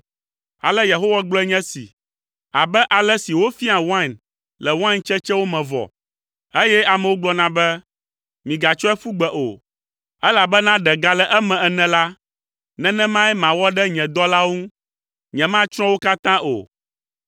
Ale Yehowa gblɔe nye esi, “Abe ale si wofiaa wain le wain tsetsewo me vɔ, eye amewo gblɔna be, ‘Migatsɔe ƒu gbe o, elabena ɖe gale eme’ ene la, nenemae mawɔ ɖe nye dɔlawo ŋu, nyematsrɔ̃ wo katã o.